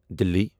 دِلہِ